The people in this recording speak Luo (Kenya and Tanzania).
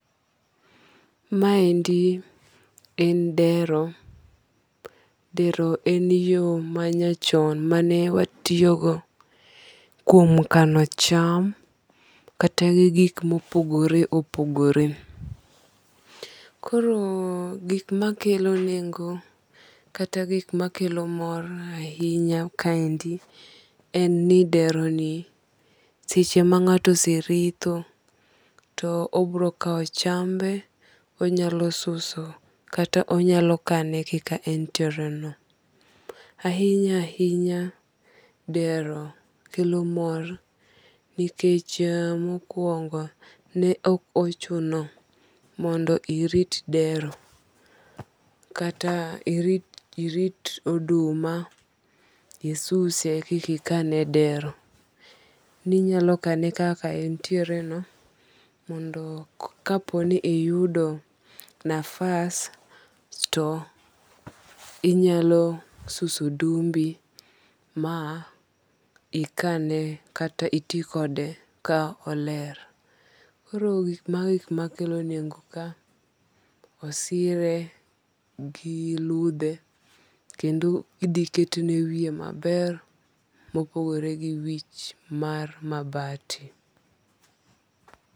Ma endi en dero. Dero en yo manya chon mane watiyo go kuom kano cham kata gi gik mopogore opogore. Koro gik makelo nengo kata gik makelo mor ahinya ka endi en ni dero ni seche ma ngato ose ritho to obiro kaw chambe onyalo suso kata onyalo kane kaka entiere no. Ahinya ahinya dero kelo mor nikech mokwongo ne ok ochuno mondo irit dero. Kata irit oduma isuse kiki kane e dero. Ninyalo kane kaka entiere no mondo kapo ni iyudo nafas to inyalo suso odumbi ma ikane kata iti kode ka oler. Koro mago e gik makelo nengo ka. Osire gi ludhe kendo idhi ketne wiye maber mopogore gi wich mar mabati.